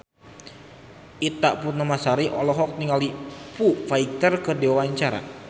Ita Purnamasari olohok ningali Foo Fighter keur diwawancara